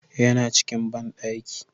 Ya na cikin banɗaki